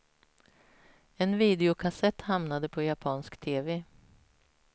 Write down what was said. En videokassett hamnade på japansk tv.